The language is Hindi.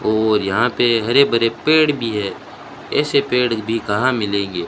और यहां पे हरे भरे पेड़ भी है ऐसे पेड़ भी कहां मिलेंगे।